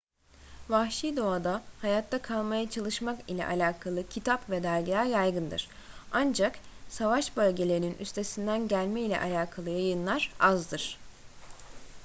vahşi doğada hayatta kalmaya çalışmak ile alakalı kitap ve dergiler yaygındır ancak savaş bölgelerinin üstesinden gelme ile alakalı yayınlar azdır